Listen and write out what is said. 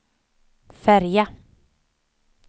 färja